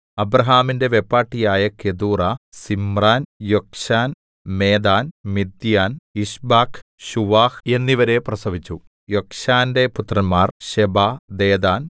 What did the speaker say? അബ്രാഹാമിന്റെ വെപ്പാട്ടിയായ Keturah Zimran Jokshan Medan Midian Ishbak Shuah എന്നിവരെ പ്രസവിച്ചു യോക്ശാന്‍റെ പുത്രന്മാർ ശെബാ ദെദാൻ